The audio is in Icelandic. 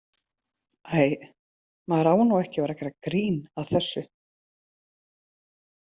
Æ, maður á nú ekki að gera grín að þessu.